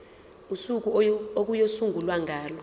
usuku okuyosungulwa ngalo